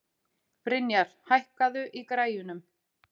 Brynjar, hækkaðu í græjunum.